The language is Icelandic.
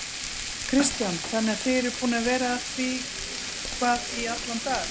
Kristján: Þannig að þið eruð búnir að vera að því hvað í allan dag?